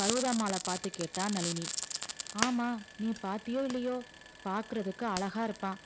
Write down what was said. பர்வதாம்மாளை பார்த்து கேட்டா நளினி ஆமா நீ பார்த்தியோ இல்லையோ பார்க்கிறதுக்கு அழகா இருப்பான்